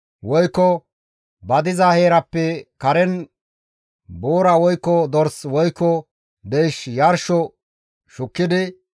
woykko ba diza heerappe karen boora woykko dors woykko deyshe yarsho shukkidi,